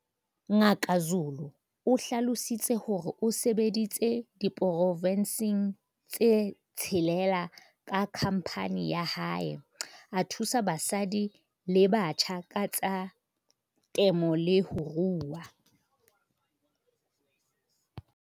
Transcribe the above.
Ngaka Zulu o hlalositse hore o sebeditse diporofenseng tse tshelela ka khamphane ya hae, a thusa basadi le batjha ka tsa temo le ho rua.